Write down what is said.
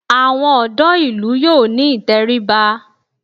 Àwọn ọ̀dọ́ ìlú yóò ní ìtẹríba